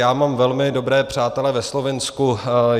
Já mám velmi dobré přátele ve Slovinsku.